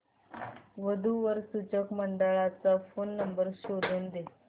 वधू वर सूचक मंडळाचा फोन नंबर शोधून दे